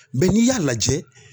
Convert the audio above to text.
n'i y'a lajɛ